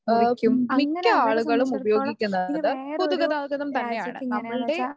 ഏഹ് മിക്ക ആളുകളും ഉപയോഗിക്കുന്നത് പൊതുഗതാഗതം തന്നെയാണ്. നമ്മളുടെ